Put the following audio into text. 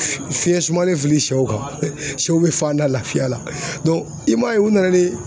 Fiɲɛ sumalen fili sɛw kan sɛw bɛ fanda lafiya la i m'a ye u nana ni